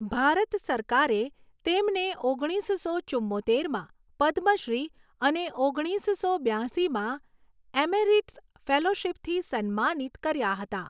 ભારત સરકારે તેમને ઓગણીસો ચુંમોતેરમાં પદ્મશ્રી અને ઓગણીસો બ્યાશીમાં એમેરિટસ ફેલોશિપથી સન્માનિત કર્યા હતા.